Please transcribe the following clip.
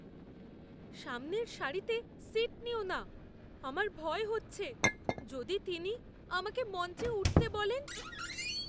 সামনের সারিতে সীট নিও না। আমার ভয় হচ্ছে, যদি তিনি আমাকে মঞ্চে উঠতে বলেন।